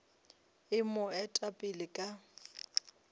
e mo eta pele ka